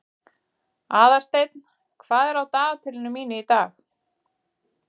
Aðalsteinn, hvað er á dagatalinu mínu í dag?